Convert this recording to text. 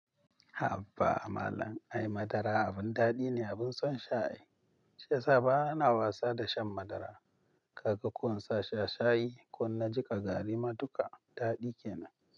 Haba malam, ai madara abin daɗi ne, abin son sha. Shiyasa bana wasa da shan madara. Kaga ko in sa shi a shayi ko na jiƙa garri maduka, daɗi kenan.